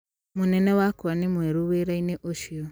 Mũnene wakwa nĩ mwerũ wĩra-inĩ ũcio.